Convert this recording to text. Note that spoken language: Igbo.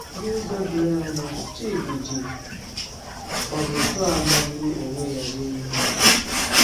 N’ụzọ doro anya, Chidi ji ọzụzụ a magburu onwe ya mee ihe.